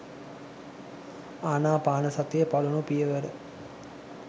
අනාපානසතියේ පළමු පියවර